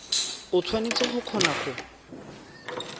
o tshwanetse go kgona go